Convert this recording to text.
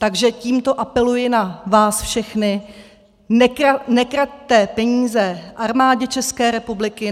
Takže tímto apeluji na vás všechny: Nekraťte peníze Armádě České republiky.